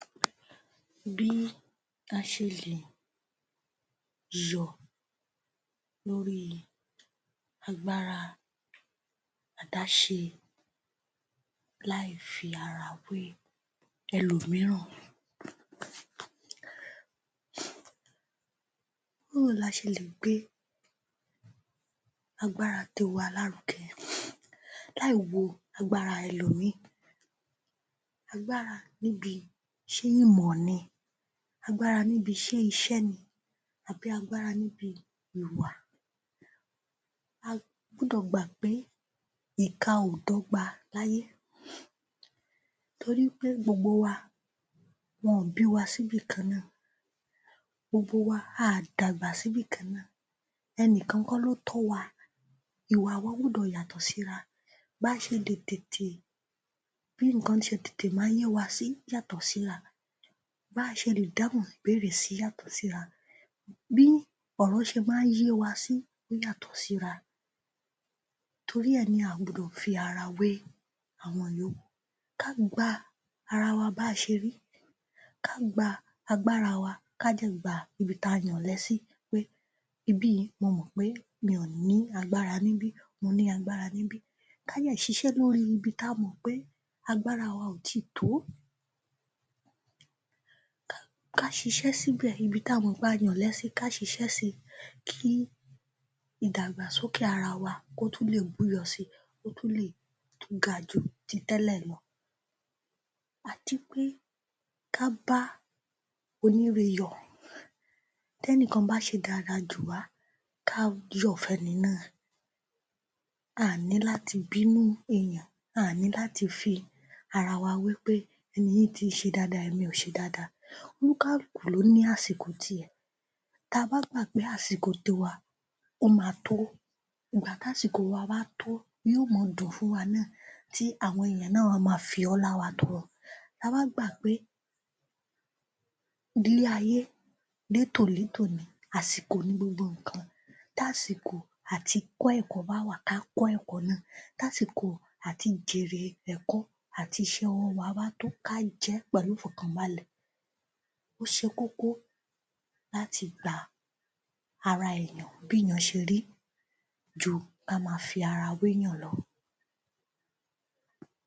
Bí a ṣe lè yọ̀ lórí agbára àdáṣe láì fi ara wé ẹlòmíràn. Báwo la ṣe lè gbé agbára tiwa lárúgẹ láì wo agbára ẹlòmíì. Agbára níbi, ṣé ìmọ̀ ni, agbára níbi, ṣé iṣẹ́ ni, àbí agbára níbi ìwà. A gbúdọ̀ gbà pé ìka ò dọ́gba láyé torípé gbogbo wa, wọn ò bí wa síbì kan-án-nà. Gbogbo wa, a dàgbà síbì kan-án-nà. Ẹnìkan kọ́ ló tọ́ wa, ìwà wa gbúdọ̀ yàtọ̀ síra. Bá ṣe lè tètè, bí nǹkan ṣe tètè máa ń yéwa sí yàtọ̀ síra. Ba ṣe lè dáhùn ìbéèrè yàtọ̀ síra, bí ọ̀rọ̀ ṣe máa ń yéwa sí yàtọ̀ síra. Torí ẹ ni a gbudọ̀ fi ara wé àwọn ìyókù. Ká gba ara wa bá ṣe rí, ká gba agbára wa, ká dẹ̀ gba ibi tá a yọ̀lẹ sí pé ibí yìí, mo mọ̀ pé mi ò ní agbára níbí, mo ní agbára níbí. Ká dẹ̀ ṣiṣẹ́ lórí ibi tá a mọ̀ pé agbára wa ò tíìtòó. Ká ṣiṣẹ́ síbẹ̀, ibi tá a mọ̀ pé a yọ̀lẹ sí, ká ṣiṣẹ́ si. Kí ìdàgbàsókè ara wa kó tún lè búyọ si, kó tún lè tún gaju ti tẹ́lẹ̀ lọ. Àti pé, ká bá oníre yọ̀. Tẹ́nìkan bá ṣe dáadáa jùwá, ká yọ fún ẹni náà. À ní láti bínú èèyàn. À ní láti fi ara wa wé pé ẹni yìí tí ń ṣe dáadáa, èmi ò ṣe dáadáa. Oníkálúùkù ló ní àsìkò ti ẹ̀. Ta bá gbà pé àsìkò tiwa ó ma tó, ìgbà tásìkò wa bá tó ní o máa dùn fún wa náà tí àwọn èèyàn náà wá ma fi ọlá wa tọrọ. Ta bá gbà pé ilé-ayé, létòlétò ni, àsìkò ni gbogbo nǹkan, tásìkò àti kọ́ ẹ̀kọ́ bá wà, kákọ́ ẹ̀kọ́ náà. Tásìkò àti jèrè ẹ̀kọ́ àti iṣẹ́ ọwọ́ wa bá tó, ká jẹẹ́ pẹ̀lú ìfọ̀kàn balẹ̀. Ó ṣe kókó láti gba ara èèyàn bí yàn ṣe rí ju kí á ma fi ara wé èèyàn lọ.